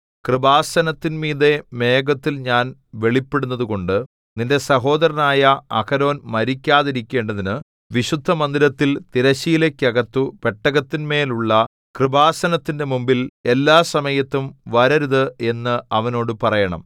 കൃപാസനത്തിന്മീതെ മേഘത്തിൽ ഞാൻ വെളിപ്പെടുന്നതുകൊണ്ടു നിന്റെ സഹോദരനായ അഹരോൻ മരിക്കാതിരിക്കേണ്ടതിനു വിശുദ്ധമന്ദിരത്തിൽ തിരശ്ശീലയ്ക്കകത്തു പെട്ടകത്തിന്മേലുള്ള കൃപാസനത്തിന്റെ മുമ്പിൽ എല്ലാസമയത്തും വരരുത് എന്ന് അവനോട് പറയണം